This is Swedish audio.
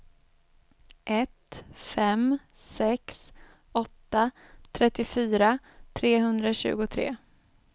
ett fem sex åtta trettiofyra trehundratjugotre